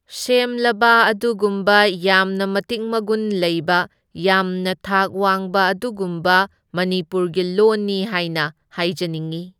ꯁꯦꯝꯂꯕ ꯑꯗꯨꯒꯨꯝꯕ ꯌꯥꯝꯅ ꯃꯇꯤꯛ ꯃꯒꯨꯟ ꯂꯩꯕ ꯌꯥꯝꯅ ꯊꯥꯛ ꯋꯥꯡꯕ ꯑꯗꯨꯒꯨꯝꯕ ꯃꯅꯤꯄꯨꯔꯒꯤ ꯂꯣꯟꯅꯤ ꯍꯥꯏꯅ ꯍꯥꯏꯖꯅꯤꯡꯢ꯫